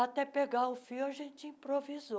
Até pegar o fio, a gente improvisou.